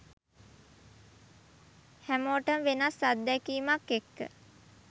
හැමෝටම වෙනස් අත්දැකීමක් එක්ක